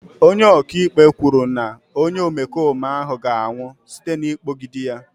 Onye ọka ikpe kwuru na onye omekome ahụ ga-anwụ site n'ịkpọgide ya.